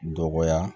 Dɔgɔya